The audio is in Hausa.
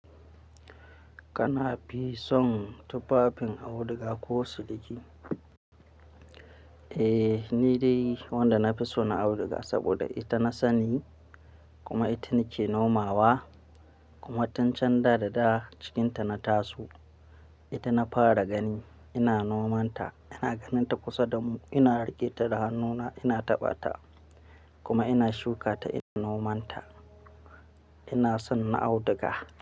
Kana fi son tufafin auduga ko siliki? Eh, ni dai wanda na fi so na auduga saboda ita na sani kuma ita nake nomawa kuma tun can da dada cikinta na taso. Ita na fara gani, ina nomanta, ina ganin ta kusa damu, ina rage ta da hannuna, ina taɓa ta kuma ina shuka ta ina nomanta. Ina son na auduga.